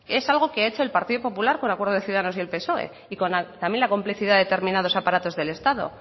es algo que ha hecho el partido popular con acuerdo de ciudadanos y el psoe y también con la complicidad de determinados aparatos del estado